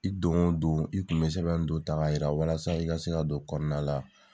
I don o don i tun bɛ sɛbɛn don ta ka jira walasa i ka se ka don kɔnɔnala